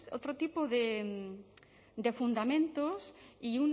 otro tipo de fundamentos y